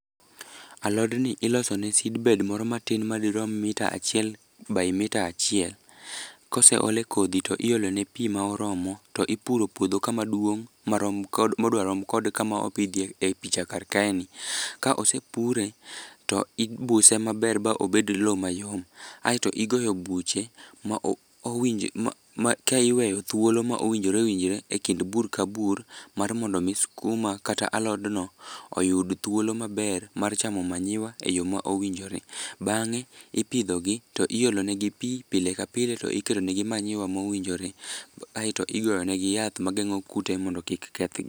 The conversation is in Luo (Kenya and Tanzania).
Alodni iloso ne seedbed moro matin madirom mita achiel by mita achiel. Koseole kodhi to iolone pi moromo, to ipuro puodho kamaduong' modwa rom kod kama opidhye e picha kar kaeni, ka osepure, to ibuse maber ba obed lowo mayom. Aeto igoyo buche ma ka iweyo thuolo ma owinjore owinjore e kind bur ka bur, mar mondo omi skuma kata alodno oyud thuolo maber mar chamo manyiwa e yo ma owinjore. Bang'e, ipidhogi to iolonegi pi pile ka pile to iketo negi manyiwa mowinjore, aeto igo negi yath mageng'o kute mondo kik kethgi.